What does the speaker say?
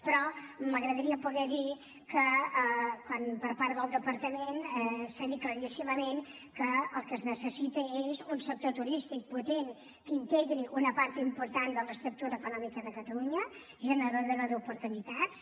però m’agradaria poder dir que per part del departament s’ha dit claríssimament que el que es necessita és un sector turístic potent que integri una part important de l’estructura econòmica de catalunya generadora d’oportunitats